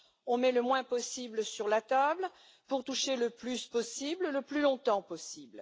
On met le moins possible sur la table pour toucher le plus possible, le plus longtemps possible.